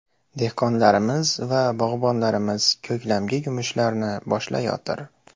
Dehqonlarimiz va bog‘bonlarimiz ko‘klamgi yumushlarni boshlayotir.